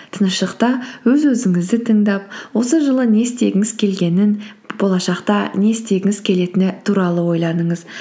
тыныштықта өз өзіңізді тыңдап осы жылы не істегіңіз келгенін болашақта не істегіңіз келетіні туралы ойланыңыз